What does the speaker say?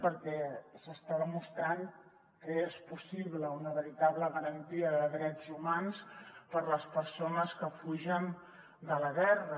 perquè s’està demostrant que és possible una veritable garantia de drets humans per a les persones que fugen de la guerra